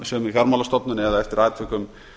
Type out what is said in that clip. sömu fjármálastofnun eða eftir atvikum